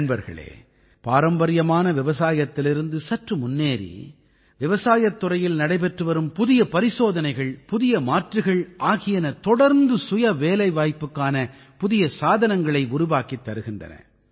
நண்பர்களே பாரம்பரியமான விவசாயத்திலிருந்து சற்று முன்னேறி விவசாயத் துறையில் நடைபெற்றுவரும் புதிய பரிசோதனைகள் புதிய மாற்றுகள் ஆகியன தொடர்ந்து சுயவேலைவாய்ப்புக்கான புதிய சாதனங்களை உருவாக்கித் தருகின்றன